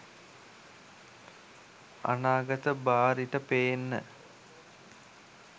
අනාගත බාරිට පේන්න